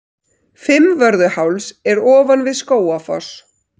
Fimmvörðuháls er ofan við Skógafoss.